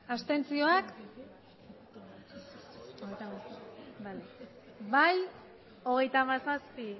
abstentzioak bai hogeita hamazazpi